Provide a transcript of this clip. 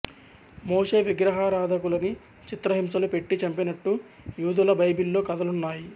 మోషే విగ్రహారాధకులని చిత్రహింసలు పెట్టి చంపినట్టు యూదుల బైబిల్లో కథలున్నాయి